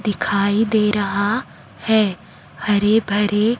दिखाई दे रहा है हरे भरे--